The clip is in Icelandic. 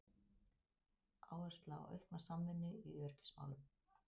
Áhersla á aukna samvinnu í öryggismálum